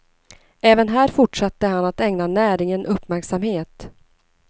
Även här fortsatte han att ägna näringen uppmärksamhet.